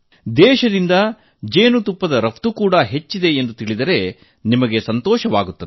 ದೇಶದಿಂದ ಜೇನುತುಪ್ಪದ ರಫ್ತು ಕೂಡ ಹೆಚ್ಚಾಗಿದೆ ಎಂಬುದನ್ನು ತಿಳಿದರೆ ನಿಮಗೂ ಸಂತೋಷವಾಗುತ್ತದೆ